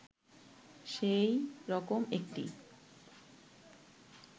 সেই রকম একটি